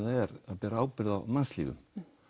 ber ábyrgð á mannslífum